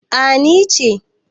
A ni ce